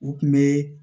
U kun bɛ